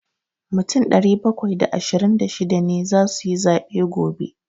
Mutum ɗari bakwai da ashirin da shida ne za su yi zaɓe gobe.